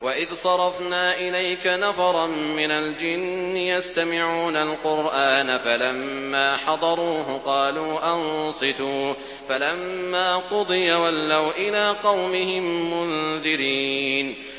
وَإِذْ صَرَفْنَا إِلَيْكَ نَفَرًا مِّنَ الْجِنِّ يَسْتَمِعُونَ الْقُرْآنَ فَلَمَّا حَضَرُوهُ قَالُوا أَنصِتُوا ۖ فَلَمَّا قُضِيَ وَلَّوْا إِلَىٰ قَوْمِهِم مُّنذِرِينَ